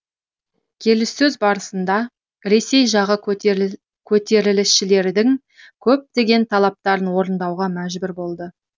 келіссөз барысында ресей жағы көтерілісшілердің көптеген талаптарын орындауға мәжбүр болды